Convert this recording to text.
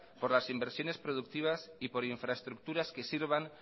por las inversiones productivas y por infraestructuras que sirvan